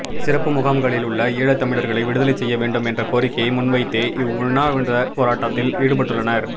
சிறப்பு முகாம்களில் உள்ள ஈழத்தமிழர்களை விடுதலை செய்ய வேண்டும் என்ற கோரிக்கையை முன்வைத்தே இவ் உண்ணாவிரத போராட்டத்தில் ஈடுபட்டுள்ளனர்